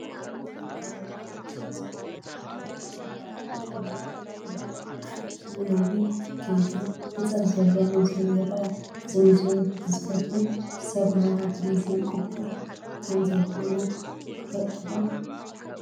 እዚ ከባቢ ናይ ኣኽሱም ፅዮን ማርያም ምብራቓዊ መጐራበቲ እዩ፡፡ ኣብኡ ነዊሕ ኣብ ከይዲ ህንፀት ዘሎ ሙዝየም ይርአ፡፡ እዚ ሙዝየም ግዝፈቱ ብሰብ ሞያ ቱሪዝም ቅቡል ከምዘይኮነ ትፈልጡ ዶ?